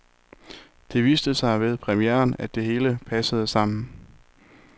Det viste sig ved premieren, at det hele passede sammen.